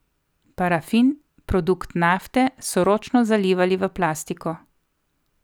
Parafin, produkt nafte, so ročno zalivali v plastiko.